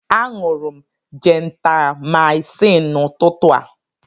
Aṅụrụ m jentamaịcịn n'ụtụtụ a.